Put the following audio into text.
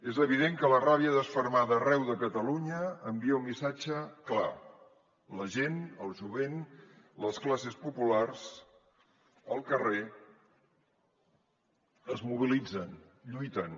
és evident que la ràbia desfermada arreu de catalunya envia un missatge clar la gent el jovent les classes populars el carrer es mobilitzen lluiten